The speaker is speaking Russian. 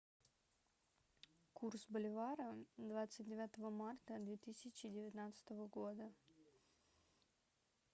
курс боливара двадцать девятого марта две тысячи девятнадцатого года